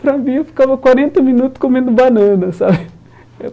Para mim, eu ficava quarenta minuto comendo banana, sabe? Eu